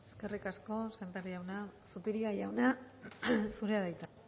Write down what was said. eskerrik asko sémper jauna zupiria jauna zurea da hitza